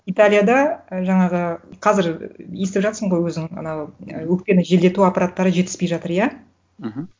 италияда і жаңағы қазір естіп жатырсың ғой өзің анау өкпені желдету аппараттары жетіспей жатыр иә мхм